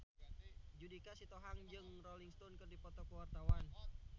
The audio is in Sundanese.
Judika Sitohang jeung Rolling Stone keur dipoto ku wartawan